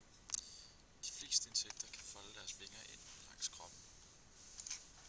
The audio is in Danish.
de fleste insekter kan folde deres vinger ind langs kroppen